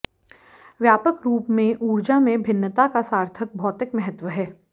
व्यापक रूप में ऊर्जा में भिन्नता का सार्थक भौतिक महत्व है